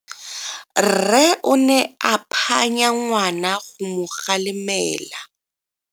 Rre o ne a phanya ngwana go mo galemela.